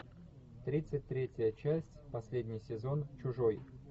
тридцать третья часть последний сезон чужой